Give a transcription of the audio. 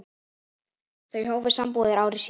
Þau hófu sambúð ári síðar.